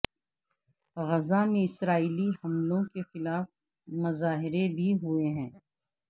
غزہ میں اسرائیلی حملوں کے خلاف مظاہرے بھی ہوئے ہیں